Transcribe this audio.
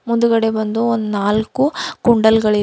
ಮುಂದುಗಡೆ ಬಂದು ಒಂದು ನಾಲ್ಕು ಕುಂಡಲ್ ಗಳಿವೆ.